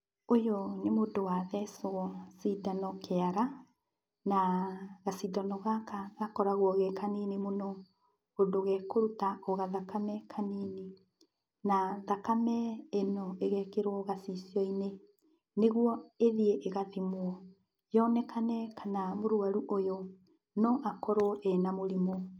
Ũyũ nĩ mũndũ wathecwo cindano kĩara, na gacindano gaka gakoragwo gekanini mũno, ũndũ gekũruta o gathakame kanini. Na, thakame ĩno ĩgekĩrwo gacicio-inĩ, nĩguo ĩthiĩ ĩgathimwo, yonekane kana mũrwaru ũyũ, no akorwo ena mũrimũ.